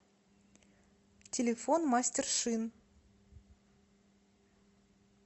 телефон мастер шин